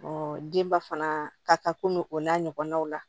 denba fana ka komi o n'a ɲɔgɔnnaw la